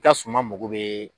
ka suman mago bɛ